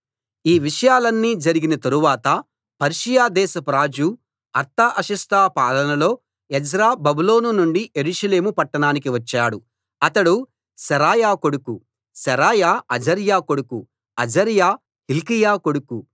ఈ విషయాలన్నీ జరిగిన తరువాత పర్షియా దేశపు రాజు అర్తహషస్త పాలనలో ఎజ్రా బబులోను నుండి యెరూషలేము పట్టణానికి వచ్చాడు ఇతడు శెరాయా కొడుకు శెరాయా అజర్యా కొడుకు అజర్యా హిల్కీయా కొడుకు